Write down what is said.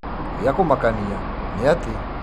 Gĩa kũmakania nĩ atĩ.